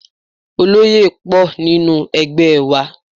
Oloye pọ̀ nínú ẹgbẹ́ wa.